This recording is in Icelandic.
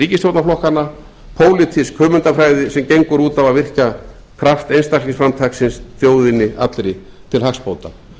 ríkisstjórnarflokkanna pólitísk hugmyndafræði sem gengur út á að virkja kraft einstaklingsframtaksins þjóðinni allri til hagsbóta